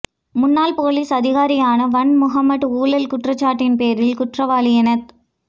முன்னாள் போலீஸ் அதிகாரியான Wan Muhammad ஊழல் குற்றச்சாட்டின் பேரில் குற்றவாளி எனத்